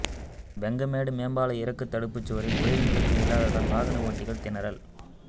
வெங்கமேடு மேம்பால இறக்க தடுப்பு சுவரில் ஒளிரும் விளக்கு இல்லாததால் வாகன ஓட்டிகள் திணறல்